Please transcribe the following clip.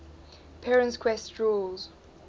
perrin's quest rules